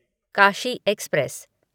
Kashi express